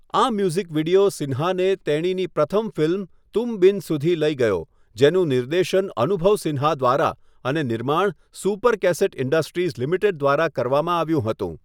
આ music video સિન્હાને તેણીની પ્રથમ ફિલ્મ 'તુમ બિન' સુધી લઈ ગયો, જેનું નિર્દેશન અનુભવ સિન્હા દ્વારા અને નિર્માણ સુપર કેસેટ ઇન્ડસ્ટ્રીઝ લિમિટેડ દ્વારા કરવામાં આવ્યું હતું.